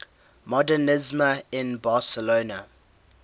modernisme in barcelona